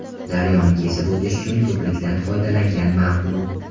Daryoni kesib o‘tish uchun ko‘prikdan foydalangan ma’qul.